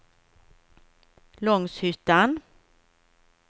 Långshyttan